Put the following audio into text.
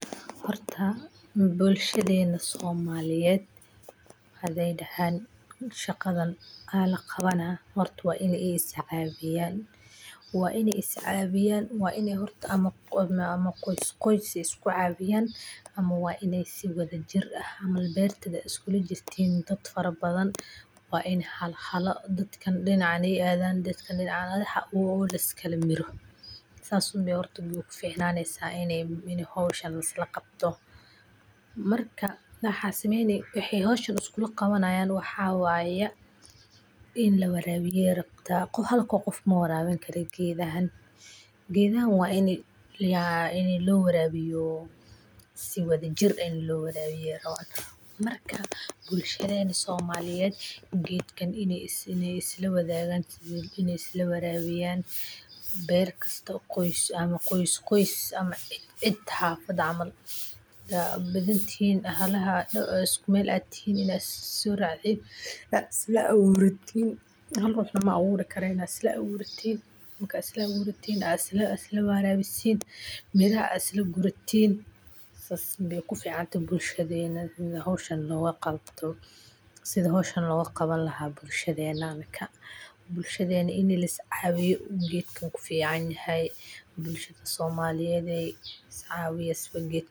Horta bulshaadena somaliyeed hadey dahan shaqaadan aya laqawani waa in iyaga iscawiyaan, waa in ee iscawiyan, waa in hortaa ama qois qois isku cawiyaan, ama waa in si wadha jir ah camal beertaa dad fara badhan iskula jirtan waa in hala hala dadkan dinacan ee aadan, dadkana dinacan adhan o liska la miro, sas umbe hortaa u fiicnaneysaa in howshan lis laqabto, marka maxaa sameyn wexee howshan isku laqawanayan waxaa waya in lawarawiyo ayey rabtaa, halko qof mawarabini karo geedahan, geedahan waa in lo warawiyo si wala jir ah lo warawiyo, marka bulshaadena somaliyeed geedkan in ee isla wadhagan in ee isla warawiyan, beer kasto qois ama qois qois ama ciid ciid xafad camal, hadaa badhantihin halaha isku meel tihin ina isa so racdiin isasoracdin is la aburatiin mala aburikaraa in isla aburatiin, marka isla aburatiin aa isla warabisin, miiraha aa isla guuratin, sas bee ku fiicantahay bulshaadena in howshan loga qabto, sitha howshan loga qawan lahay bulshaadhena aminka, bulshaadena in Lis cawiyo geedkan ku fiican yahay, bulshaada somaliyeedey is cawiyaa sitha geedka.